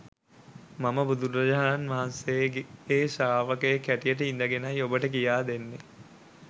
මම බුදුරජාණන් වහන්සේගේ ශ්‍රාවකයෙක් හැටියට ඉඳගෙනයි ඔබට කියාදෙන්නෙ